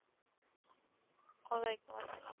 ওলাইকুম আসসালাম।